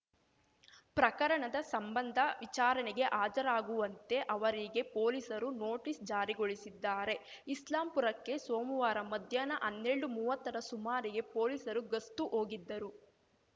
ಪ್ರಕರಣದ ಸಂಬಂಧ ವಿಚಾರಣೆಗೆ ಹಾಜರಾಗುವಂತೆ ಅವರಿಗೆ ಪೊಲೀಸರು ನೋಟಿಸ್‌ ಜಾರಿಗೊಳಿಸಿದ್ದಾರೆ ಇಸ್ಲಾಂಪುರಕ್ಕೆ ಸೋಮುವಾರ ಮಧ್ಯಾಹ್ನ ಅನ್ನೆಲ್ಡುಮುವ್ವತ್ತರ ಸುಮಾರಿಗೆ ಪೊಲೀಸರು ಗಸ್ತು ಹೋಗಿದ್ದರು